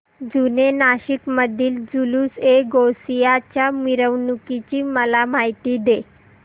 जुने नाशिक मधील जुलूसएगौसिया च्या मिरवणूकीची मला माहिती दे